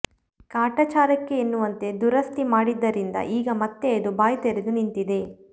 ಕಾಟಾಚಾರಕ್ಕೆ ಎನ್ನುವಂತೆ ದುರಸ್ತಿ ಮಾಡಿದ್ದರಿಂದ ಈಗ ಮತ್ತೆ ಅದು ಬಾಯ್ದೆರೆದು ನಿಂತಿದೆ